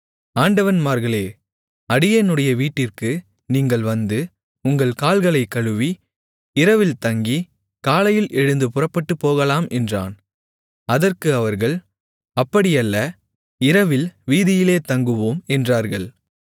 ஆண்டவன்மார்களே அடியேனுடைய வீட்டிற்கு நீங்கள் வந்து உங்கள் கால்களைக் கழுவி இரவில்தங்கி காலையில் எழுந்து புறப்பட்டுப் போகலாம் என்றான் அதற்கு அவர்கள் அப்படியல்ல இரவில் வீதியிலே தங்குவோம் என்றார்கள்